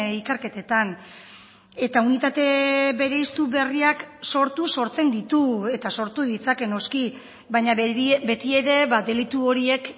ikerketetan eta unitate bereiztu berriak sortu sortzen ditu eta sortu ditzake noski baina beti ere delitu horiek